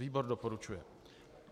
Výbor doporučuje.